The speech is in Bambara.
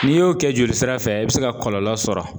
N'i y'o kɛ joli sira fɛ i be se ka kɔlɔlɔ sɔrɔ.